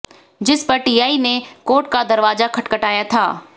जिस पर टीआई ने कोर्ट का दरवाजा खटखटाया था